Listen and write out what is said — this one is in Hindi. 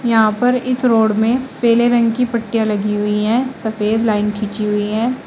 यहां पर इस रोड में पीले रंग की पट्टियां लगी हुई है सफेद लाइन खींची हुई है।